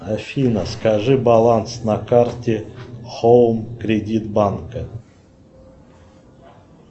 афина скажи баланс на карте хоум кредит банка